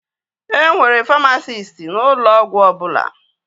E nwere famasisti n'ụlọ ọgwụ ọbụla